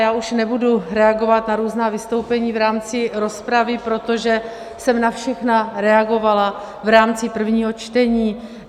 Já už nebudu reagovat na různá vystoupení v rámci rozpravy, protože jsem na všechna reagovala v rámci prvního čtení.